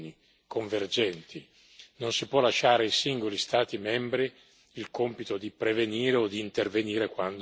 non si può lasciare ai singoli Stati membri il compito di prevenire o di intervenire quando si rende necessario.